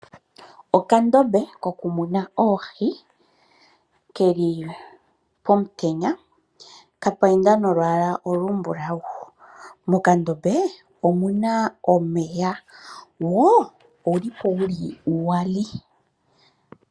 Okandombe kokumuna oohi okeli pomutenya kapaindwa nolwaala olumbulawu. Mokandombe omuna omeya wo owuli uwali.